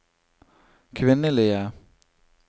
kvinnelige